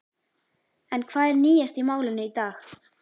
En hvað er nýjast í málinu í dag?